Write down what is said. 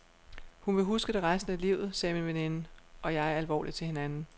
Hun vil huske det resten af livet, sagde min veninde og jeg alvorligt til hinanden.